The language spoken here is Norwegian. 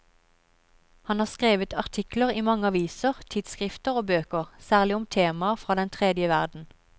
Han har skrevet artikler i mange aviser, tidsskrifter og bøker, særlig om temaer fra den tredje verden.